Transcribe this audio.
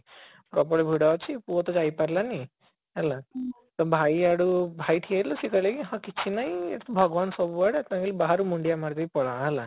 ପ୍ରବଳ ଭିଡ ଅଛି ପୁଅ ତ ଯାଇପାରିଲାନି ହେଲା ତା ଭାଇ ଆଡୁ ଭାଇ ଠିଆ ହେଇଥିଲା ସିଏ କହିଲା କି ହଁ କିଛି ନାହିଁ ଭଗବାନ ସବୁଆଡେ ତମେ ଖାଲି ବାହାରୁ ମୁଣ୍ଡିଆ ମାରିଦେଇ ପଳାଅ ହେଲା